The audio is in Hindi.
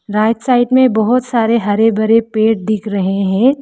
राइट साइड में बहोत सारे हरे भरे पेड़ दिख रहे हैं।